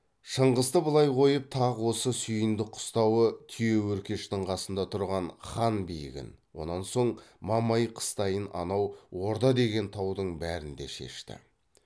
шыңғысты былай қойып тақ осы сүйіндік қыстауы түйеөркештің қасында тұрған хан биігін онан соң мамай қыстайын анау орда деген таудың бәрін де шешті